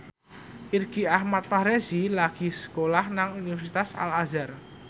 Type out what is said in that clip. Irgi Ahmad Fahrezi lagi sekolah nang Universitas Al Azhar